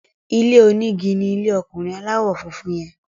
ilé oní ìgi ní ilè ọkunrin aláwò fún fún yen.